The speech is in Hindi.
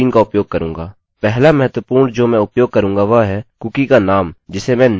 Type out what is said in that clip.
पहला महत्वपूर्ण जो मैं उपयोग करूँगा वह है कुकी का नाम जिसे मैं name सेट करूँगा